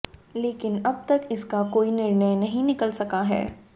लेकिन अब तक इसका कोई निर्णय नहीं निकल सका है